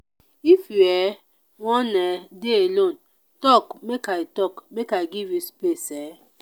if you um wan um dey alone tok make i tok make i give you space. um